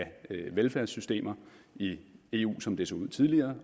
velfærdssystemer i eu som det så ud tidligere